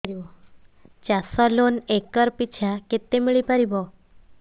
ଚାଷ loan acre ପିଛା କେତେ ମିଳି ପାରିବ